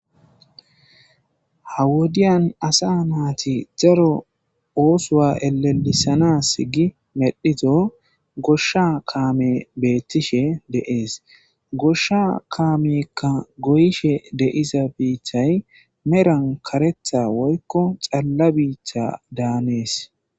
hawodiyan asa naati zaro oosowa elelisanas gi medhito goshsha kaame beettishe deees goshsha kaamekka goyishe deiza biiththay meran karetha woykko xalla biiththa daanees